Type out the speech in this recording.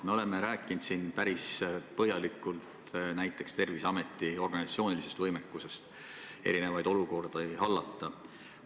Me oleme siin päris põhjalikult rääkinud näiteks Terviseameti organisatsioonilisest võimekusest erinevaid olukordi hallata.